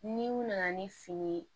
Ni u nana ni fini ye